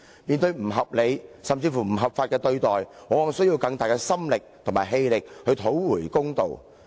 面對不合理，甚至不合法的解僱，僱員往往需要更大的心力和氣力去討回公道。